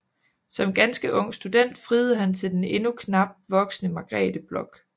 Som ganske ung student friede han til den endnu knap voksne Margrethe Bloch